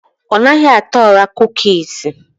Ọnaghị ata ora kukusi